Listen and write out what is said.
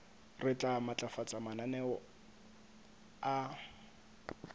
re tla matlafatsa mananeo a